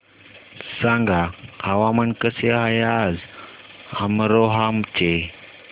सांगा हवामान कसे आहे आज अमरोहा चे